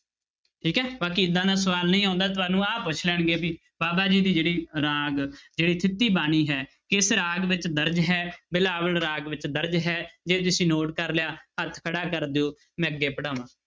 ਠੀਕ ਹੈ ਬਾਕੀ ਏਦਾਂ ਦਾ ਸਵਾਲ ਨਹੀਂ ਆਉਂਦਾ ਤੁਹਾਨੂੰ ਆਹ ਪੁੱਛ ਲੈਣਗੇ ਵੀ ਬਾਬਾ ਜੀ ਦੀ ਜਿਹੜੀ ਰਾਗ ਜਿਹੜੀ ਥਿੱਤੀ ਬਾਣੀ ਹੈ ਕਿਸ ਰਾਗ ਵਿੱਚ ਦਰਜ਼ ਹੈ ਬਿਲਾਵਲ ਰਾਗ ਵਿੱਚ ਦਰਜ਼ ਹੈ ਜੇ ਤੁਸੀਂ note ਕਰ ਲਿਆ ਹੱਥ ਖੜਾ ਕਰ ਦਿਓ ਮੈਂ ਅੱਗੇ ਪੜਾਵਾਂ।